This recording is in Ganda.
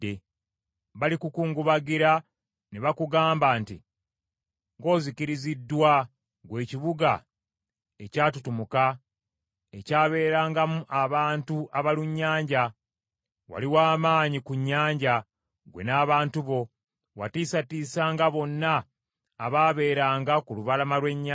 Balikukungubagira ne bakugamba nti, “ ‘Ng’ozikiriziddwa, ggwe ekibuga ekyatutumuka, ekyabeerangamu abantu abalunnyanja. Wali wa maanyi ku nnyanja, ggwe n’abantu bo, watiisatiisanga bonna abaabeeranga ku lubalama lw’ennyanja.